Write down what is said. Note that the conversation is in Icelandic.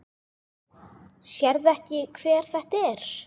Sérðu ekki hver þetta er?